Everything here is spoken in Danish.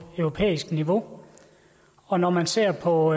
europæisk niveau og når man ser på